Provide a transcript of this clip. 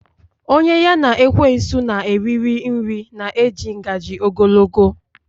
Onye ya na ekwensu na eriri nri na eji ngaji ogologo